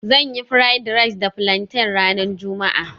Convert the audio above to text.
Zan yi fried rice da plantain ranar juma'a